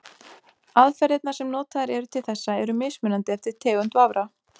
Aðferðirnar sem notaðar eru til þessa eru mismunandi eftir tegund vafra.